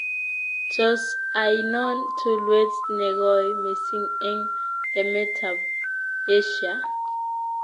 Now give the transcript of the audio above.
Tos' ainon tulwet negoi missing' eng' emetab asia